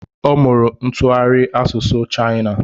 Ọ mụrụ ntụgharị asụsụ Chaina